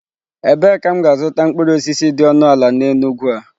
Ebee ka m ga-azụta mkpụrụ osisi dị ọnụ ala n'Enugwu a?